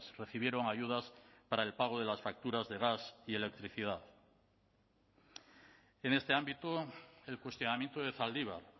recibieron ayudas para el pago de las facturas de gas y electricidad en este ámbito el cuestionamiento de zaldibar